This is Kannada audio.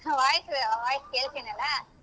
Voice voice ಕೇಳ್ತಿನಲ್ಲ.